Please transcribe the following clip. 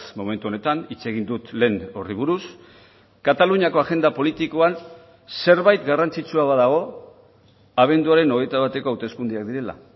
momentu honetan hitz egin dut lehen horri buruz kataluniako agenda politikoan zerbait garrantzitsua badago abenduaren hogeita bateko hauteskundeak direla